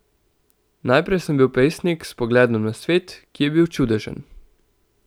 Najprej sem bil pesnik s pogledom na svet, ki je bil čudežen.